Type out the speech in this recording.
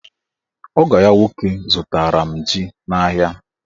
Ogo ya nwoke zụtara m ji n'ahịa.